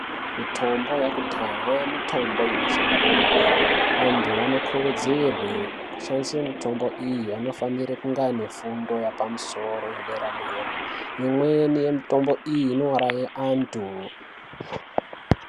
Mitombo yakudhaa mitombo inoshanda kwemene anthu anokurudzirwe kushandise mitombo iyi anofanire kunge ane fundo yapamusoro yedera dera imweni yemitombo iyi inouraye anthu.